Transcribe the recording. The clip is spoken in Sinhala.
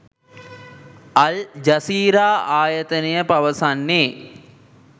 අල් ජසීරා ආයතනය පවසන්නේ